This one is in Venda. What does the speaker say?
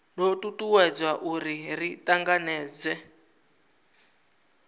do tutuwedza uri ri tanganedzee